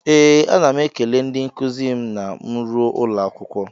Ee, ana m ekele ndị nkuzi m na m ruo ụlọ akwụkwọ.